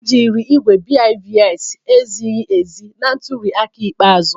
Ejiri igwe BIVAS ezighi ezi na ntuli aka ikpeazụ